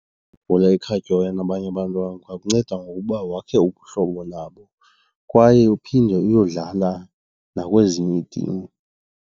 Ibhola ekhatywayo nabanye abantwana ingakunceda ngokuba wakhe ubuhlobo nabo kwaye uphinde uyodlala nakwezinye iitim.